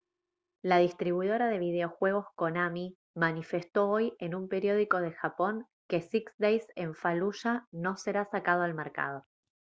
la distribuidora de videojuegos konami manifestó hoy en un periódico de japón que six days en fallujah no será sacado al mercado